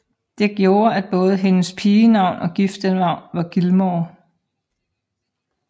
Det gjorde at både hendes pigenavn og giftenavn var Gilmore